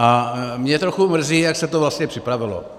A mě trochu mrzí, jak se to vlastně připravilo.